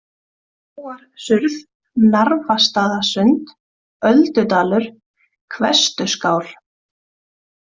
Hróarsurð, Narfastaðasund, Öldudalur, Hvestuskál